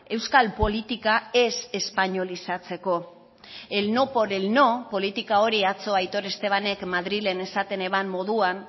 euskal politika ez espainolizatzeko el no por el no politika hori atzo aitor estebanek madrilen esaten eban moduan